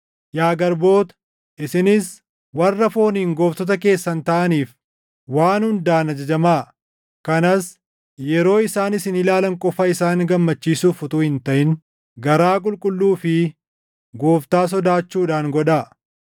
Yaa garboota, isinis warra fooniin gooftota keessan taʼaniif waan hundaan ajajamaa; kanas yeroo isaan isin ilaalan qofa isaan gammachiisuuf utuu hin taʼin garaa qulqulluu fi Gooftaa sodaachuudhaan godhaa.